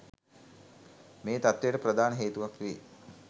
මේ තත්ත්වයට ප්‍රධාන හේතුවක් වේ.